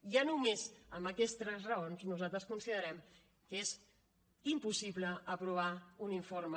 ja només amb aquestes raons nosaltres considerem que és impossible aprovar un informe